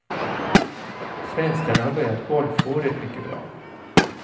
Svenskarna har börjat golfåret mycket bra.